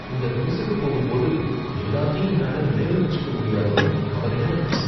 இந்த குவிஸுக்கு போகும்போது எல்லாத்தையும் என்னால நினைவுல வெச்சிக்க முடியாதோன்னு கவலையா இருக்கு.